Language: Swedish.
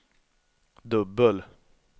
dubbel